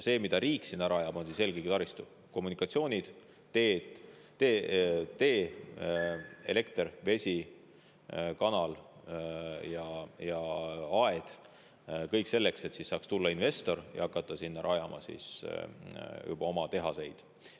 See, mida riik sinna rajab, on eelkõige taristu: kommunikatsioonid, tee, elekter, vesi, kanal ja aed – kõik selleks, et investorid saaksid tulla ja hakata rajama sinna oma tehaseid.